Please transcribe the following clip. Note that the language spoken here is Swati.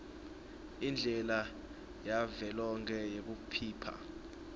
indlela yavelonkhe yekuphipha